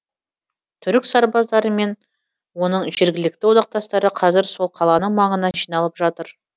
түрік сарбаздары мен оның жергілікті одақтастары қазір сол қаланың маңына жиналып жатыр